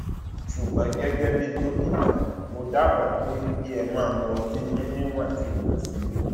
ṣùgbọn gẹgẹ bí dókítà mo dábàá pé pé kí ẹ máa mu ọtí yín níwọntúnwọnsì